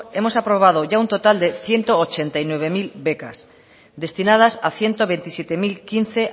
hemos aprobado ya un total de ciento ochenta y nueve mil becas destinadas a ciento veintisiete mil quince